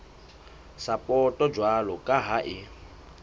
sapoto jwalo ka ha e